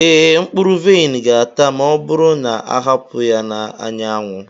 ee, mkpụrụ vaịn ga-ata ma ọ bụrụ na a hapụ ya n'anyanwụ.